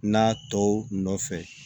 N'a tɔw nɔfɛ